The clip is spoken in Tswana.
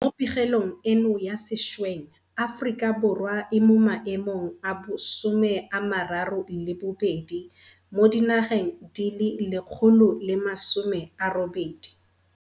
Mo pegelong eno ya sešweng Aforika Borwa e mo maemong a bo 32 mo di nageng di le 180.